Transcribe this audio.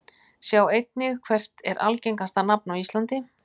Sjá einnig: Hvert er algengasta nafn á íslandi?